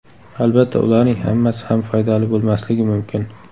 Albatta, ularning hammasi ham foydali bo‘lmasligi mumkin.